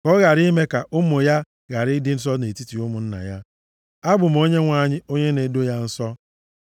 ka ọ ghara ime ka ụmụ ya ghara ịdị nsọ nʼetiti ụmụnna ya. Abụ m Onyenwe anyị onye na-edo ya nsọ.’ ”